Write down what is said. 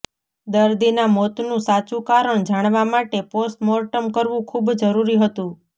દર્દીના મોતનું સાચું કારણ જાણવા માટે પોસ્ટમોર્ટમ કરવું ખૂબ જરૂરી હતું